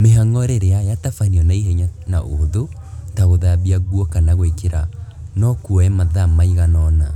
Mĩhango rĩrĩa yatabanio na ihenya na ũhũthũ, ta gũthambia nguo kana gwĩkĩra no kuoe mathaa maigana ona